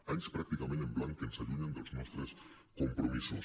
anys pràcticament en blanc que ens allunyen dels nostres compromisos